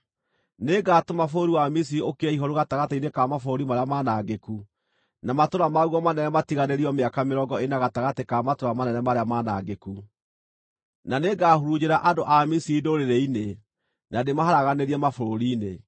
Nĩngatũma bũrũri wa Misiri ũkire ihooru gatagatĩ-inĩ ka mabũrũri marĩa manangĩku, na matũũra maguo manene matiganĩrio mĩaka mĩrongo ĩna gatagatĩ ka matũũra manene marĩa manangĩku. Na nĩngahurunjĩra andũ a Misiri ndũrĩrĩ-inĩ, na ndĩmaharaganĩrie mabũrũri-inĩ.